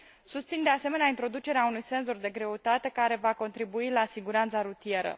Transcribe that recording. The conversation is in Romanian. Susțin, de asemenea, introducerea unui senzor de greutate care va contribui la siguranța rutieră.